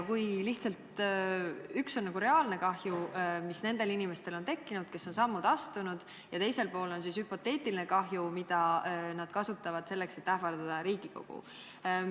Ühel pool on reaalne kahju, mis on tekkinud nendel inimestel, kes on samme astunud, ja teisel pool on hüpoteetiline kahju, millele viidatakse, et ähvardada Riigikogu.